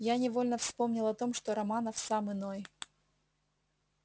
я невольно вспомнил о том что романов сам иной